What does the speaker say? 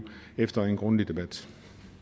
efter en grundig debat